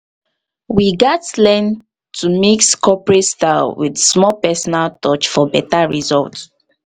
we gats learn to mix corporate style with small personal touch for beta result.